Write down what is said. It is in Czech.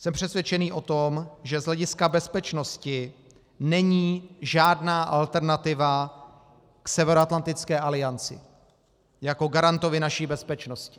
Jsem přesvědčený o tom, že z hlediska bezpečnosti není žádná alternativa k Severoatlantické alianci jako garantovi naší bezpečnosti.